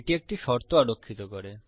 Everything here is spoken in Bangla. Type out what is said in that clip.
এটি একটি শর্ত আরোক্ষিত করে